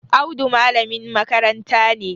Audu malamin makaranta ne